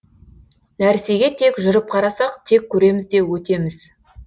нәрсеге тек жүріп қарасақ тек көреміз де өтеміз